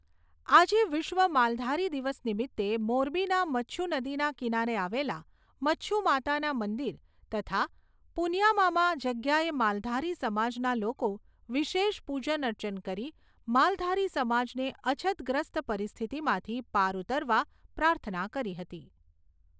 આજે વિશ્વ માલધારી દિવસ નિમિત્તે મોરબીના મચ્છુ નદીના કિનારે આવેલા મચ્છુમાતાના મંદિર તથા પુનિયામામાં જગ્યાએ માલધારી સમાજના લોકો વિશેષ પુજન અર્ચન કરી માલધારી સમાજને અછતગ્રસ્ત પરિસ્થિતિમાંથી પાર ઉતરવા પ્રાર્થના કરી હતી.